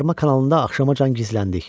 Suvarma kanalında axşamacan gizləndik.